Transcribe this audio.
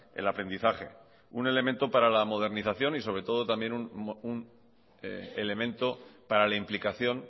el aprendizaje un elemento para la modernización y sobre todo también un elemento para la implicación